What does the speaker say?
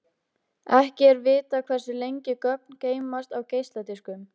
Ekki er vitað hversu lengi gögn geymast á geisladiskum.